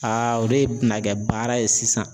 Aa o de bɛna kɛ baara ye sisan.